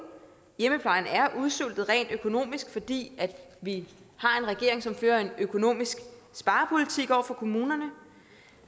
hjemmeplejen er udsultet rent økonomisk fordi vi har en regering som fører en økonomisk sparepolitik over for kommunerne